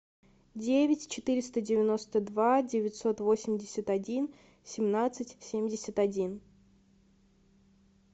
девять четыреста девяносто два девятьсот восемьдесят один семнадцать семьдесят один